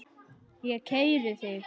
Ég keyri þig!